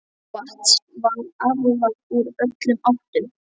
Vatns var aflað úr öllum áttum.